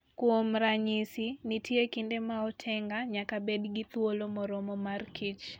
Kuom ranyisi, nitie kinde ma otenga nyaka bed gi thuolo moromo mar kich